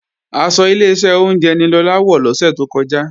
Aṣọ Ileṣẹ́ oúnjẹ ni Lọlá wọ̀ lọ́sẹ̀ tó kọjá